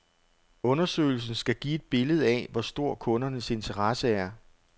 Undersøgelsen skal give et billede af, hvor stor kundernes interesse er.